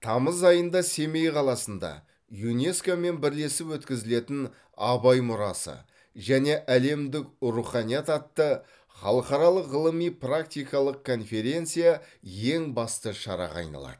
тамыз айында семей қаласында юнеско мен бірлесіп өткізілетін абай мұрасы және әлемдік руханият атты халықаралық ғылыми практикалық конференция ең басты шараға айналады